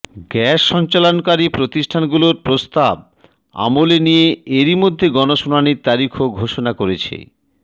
gas সঞ্চালনকারী প্রতিষ্ঠানগুলোর প্রস্তাব আমলে নিয়ে এরইমধ্যে গণশুনানির তারিখও ঘোষণা করেছে